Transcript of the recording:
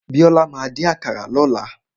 Bíọ́lá máa dín àkàrà lọ́la.